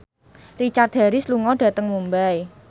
Richard Harris lunga dhateng Mumbai